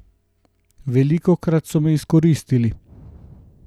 Velikokrat so me izkoristili.